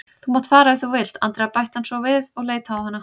Þú mátt fara ef þú vilt, Andrea bætti hann svo við og leit á hana.